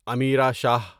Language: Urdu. امیرا شاہ